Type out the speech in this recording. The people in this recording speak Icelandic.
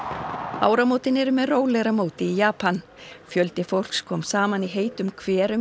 áramótin eru með rólegra móti í Japan fjöldi fólks kom saman í heitum hverum í